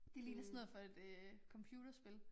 Det ligner sådan noget fra et øh computerspil